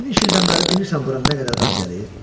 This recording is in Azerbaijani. İniş ildən bəri bilirsən bura nə qədər adam gəlib?"